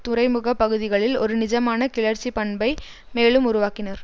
துறைமுக பகுதிகளில் ஒரு நிஜமான கிளர்ச்சி பண்பை மேலும் உருவாக்கினர்